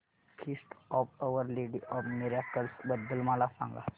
feast of Our Lady of Miracles बद्दल मला सांगा